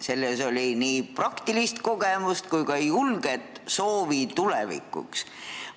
Selles oli nii praktilist kogemust kui ka julget soovi tulevikuks.